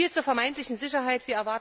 So viel zur vermeintlichen Sicherheit.